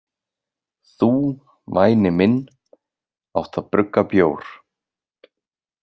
Þú, væni minn, átt að brugga bjór.